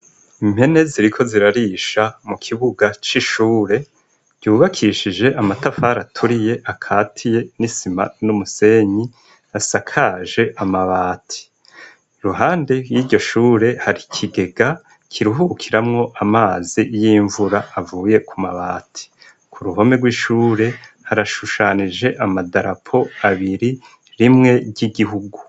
Impene ziriko rirarisha mu kibuga c' ishure ryubakishije amatafari aturiye akatiye n' isima n' umusenyi, asakaje amabati. Iruhande yiryo Shure, hari ikigega kiruhukiramwo amazi y' imvura, avuye Ku mabati. Ku ruhome rw' ishuri, harashushanije amadarapo abiri, rimwe ry' igihugu.